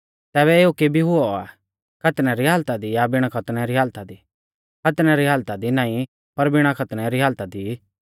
तैबै एऊ केबी हुऔ आ खतनै री हालता दी या बिणा खतनै री हालता दी खतनै री हालता दी नाईं पर बिणा खतनै री हालता दी